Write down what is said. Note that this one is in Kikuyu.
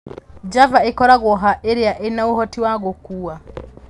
Java ĩkoragwo haa irĩa ina ũhoti wa gũkuua